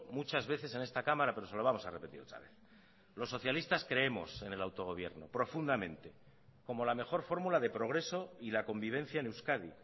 muchas veces en esta cámara pero se lo vamos a repetir otra vez los socialistas creemos en el autogobierno profundamente como la mejor fórmula de progreso y la convivencia en euskadi